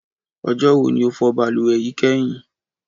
Ọjọ́ wo ni o fọ balùwẹ̀ yìí kẹ́yìn?